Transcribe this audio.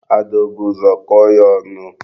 Ada o bu ụzọ kọọ ya ọnụ?